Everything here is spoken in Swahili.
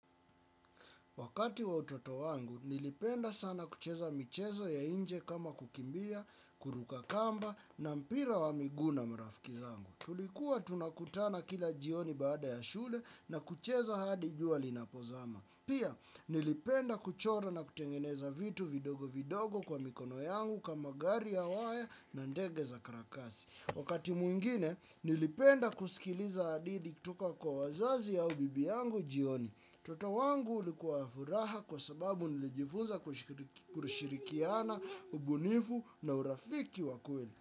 Wakati wa utoto wangu, nilipenda sana kucheza michezo ya nje kama kukimbia, kuruka kamba, na mpira wa miguu na marafiki zangu. Tulikuwa tunakutana kila jioni baada ya shule na kucheza hadi jua linapozama. Pia, nilipenda kuchora na kutengeneza vitu vidogo vidogo kwa mikono yangu kama gari ya waya na ndege za karatasi. Wakati mwingine, nilipenda kusikiliza hadithi kutoka kwa wazazi au bibi yangu jioni. Utoto wangu ulikuwa wa furaha kwa sababu nilijifunza kushirikiana, ubunifu na urafiki wa kweli.